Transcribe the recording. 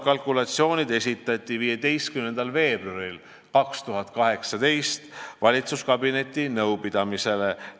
Kalkulatsioonid esitati 15. veebruaril 2018 valitsuskabineti nõupidamisele.